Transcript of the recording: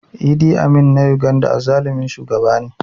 Idi Amin na Uganda azzalumin shugaba ne